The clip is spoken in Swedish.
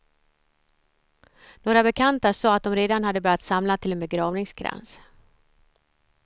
Några bekanta sade att de redan hade börjat samla till en begravningskrans.